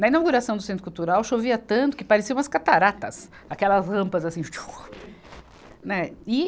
Na inauguração do Centro Cultural chovia tanto que parecia umas cataratas, aquelas rampas assim chuá, né e.